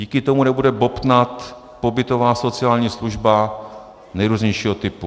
Díky tomu nebude bobtnat pobytová sociální služba nejrůznějšího typu.